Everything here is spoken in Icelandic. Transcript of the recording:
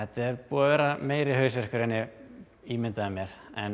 búið að vera meiri hausverkur en ég ímyndaði mér